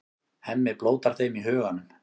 Hemmi blótar þeim í huganum.